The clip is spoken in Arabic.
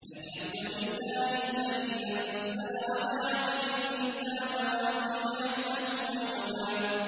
الْحَمْدُ لِلَّهِ الَّذِي أَنزَلَ عَلَىٰ عَبْدِهِ الْكِتَابَ وَلَمْ يَجْعَل لَّهُ عِوَجًا ۜ